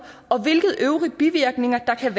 og hvilke øvrige bivirkninger det kan